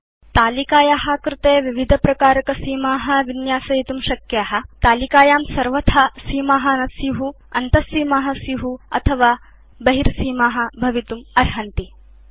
भवान् तालिकाया कृते विविधप्रकारकसीमा विन्यासयितुं शक्नोति भवदीयतालिकायां सर्वथा सीमा न स्यु अन्तसीमा स्यु अथवा केवलं बहिर् सीमा भवितुम् अर्हन्ति